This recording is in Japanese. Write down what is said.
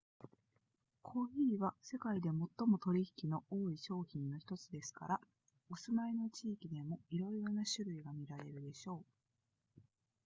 コーヒーは世界で最も取引の多い商品の1つですからお住まいの地域でもいろいろな種類が見られるでしょう